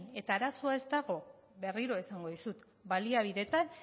eta arazoa ez dago berriro esango dizut baliabideetan